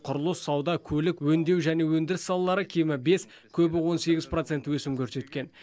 құрылыс сауда көлік өңдеу мен өндіріс салалары кемі бес көбі он сегіз процент өсім көрсеткен